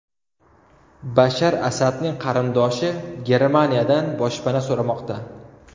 Bashar Asadning qarindoshi Germaniyadan boshpana so‘ramoqda.